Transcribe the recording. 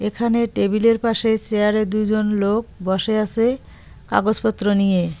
এখানে টেবিলের পাশে সেয়ারে দুজন লোক বসে আসে কাগজপত্র নিয়ে।